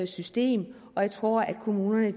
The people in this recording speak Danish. system og jeg tror at kommunerne